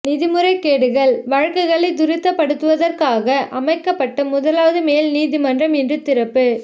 நிதி முறைகேடுகள் வழக்குகளை துரிதப்படுத்துவதற்காக அமைக்கப்பட்ட முதலாவது மேல் நீதிமன்றம் இன்று திறப்பு